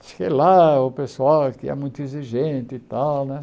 Fiquei lá, o pessoal aqui é muito exigente e tal, né?